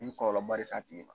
I bɛ kɔlɔlɔba le s'a tigi